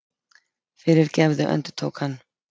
Fyrirgefðu, endurtók hann.